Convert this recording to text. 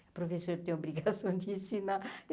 A professora tem obrigação de ensinar.